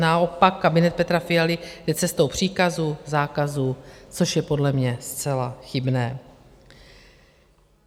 Naopak kabinet Petra Fialy jde cestou příkazů, zákazů, což je podle mě zcela chybné.